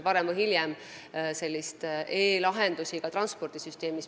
Varem või hiljem hakkame nägema e-lahendusi ka transpordisüsteemis.